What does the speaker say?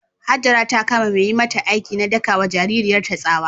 Hajara ta kama mai yi mata aiki na daka wa jaririyarta tsawa.